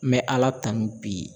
N bɛ Ala tanu bi.